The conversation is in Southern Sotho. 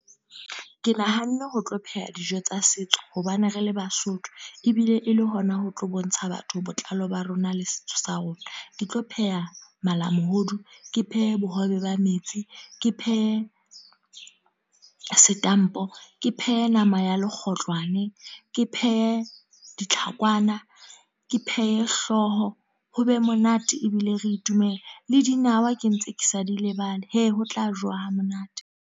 Ke nahanne ho tlo pheha dijo tsa setso. Hobane re le Basotho. Ebile e le hona ho tlo bontsha batho botlalo ba rona le setso sa rona. Ke tlo pheha malamohodu, ke phehe bohobe ba metsi, ke phehe setampo. Ke phehe nama ya lekgotlwane, ke phehe ditlhakwana, ke phehe hlooho, ho be monate ebile re itumele. Le dinawa ke ntse ke sa di lebale. He! Ho tla jowa ha monate.